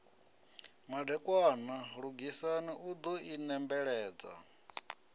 madekwana lugisani u ḓo inembeledza